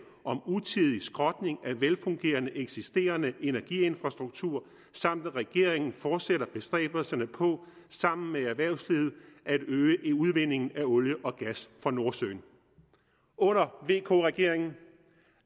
om utidig skrotning af velfungerende eksisterende energiinfrastruktur samt at regeringen fortsætter bestræbelserne på sammen med erhvervslivet at øge udvindingen af olie og gas fra nordsøen under vk regeringen